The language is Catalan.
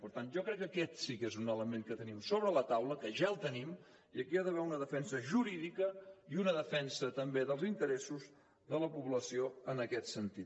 per tant jo crec que aquest sí que és un element que tenim sobre la taula que ja el tenim i aquí hi ha d’haver una defensa jurídica i una defensa també dels interessos de la població en aquest sentit